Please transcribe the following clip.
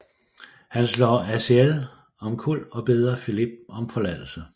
Han slår Aziel omkuld og beder Filip om forladelse